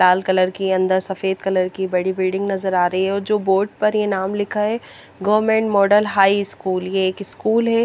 लाल colour की अन्दर सफ़ेद कलर की बड़ी बिल्डिंग नजर आरी हे और जो बोर्ड पर जो नाम लिखा हे गवर्मन्ट मोड़ल हाई स्कूल हैं।